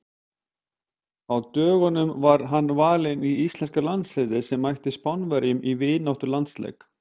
Á dögunum var hann valinn í íslenska landsliðið sem mætti Spánverjum í vináttulandsleik.